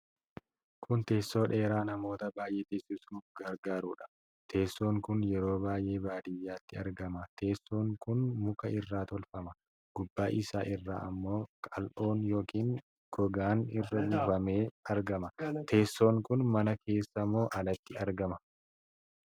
Kun teessoo dheeraa namoota baay'ee teessisuuf gargaarudha. Teesson kun yeroo baay'ee baadiyyaatti argama. Teessoon kun muka irraa tolfama. Gubbaa isaa irra ammoo kal'oon yookiin gogaan irra buufamee argama. Teessoon kun mana keessa moo alatti argama?